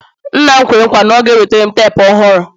nna m kwere nkwa na ọ ga-enwetara m teepu ọhụrụ